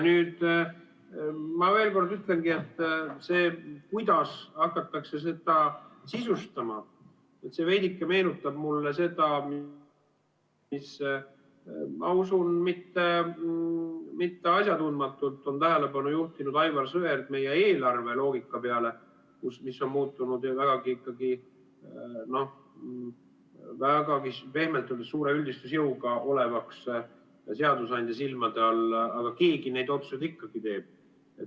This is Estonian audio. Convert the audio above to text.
Ma veel kord ütlen, et see, kuidas hakatakse seda sisustama, veidike meenutab mulle seda, millele üldse mitte asjatundmatult on tähelepanu juhtinud Aivar Sõerd, nimelt meie eelarve loogikat, mis on muutunud vägagi, pehmelt öeldes, suure üldistusjõuga seadusandja silmade all olevaks, aga keegi neid otsuseid ikkagi teeb.